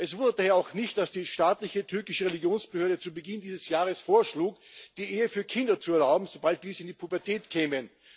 Es wundert daher auch nicht, dass die staatliche türkische Religionsbehörde zu Beginn dieses Jahres vorschlug, die Ehe für Kinder zu erlauben, sobald diese in die Pubertät kämen.